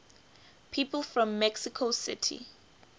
people from mexico city